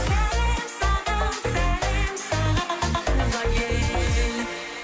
сәлем саған сәлем саған туған ел